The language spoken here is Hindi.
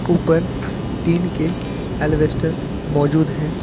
ऊपर टीन के अल्बेस्टर मैजूद है।